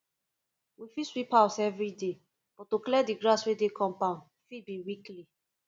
we fit sweep house everyday but to clear di grass wey dey compound fit be weekly